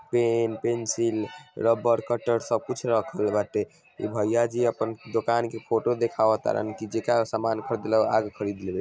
PAN pencil rubber cutter सब कुछ रखल बाटे इ भैया जी अपन दोकान के फोटो देखावर तारे की जकड़ा समान खरीदे ला आके खरीद लबे।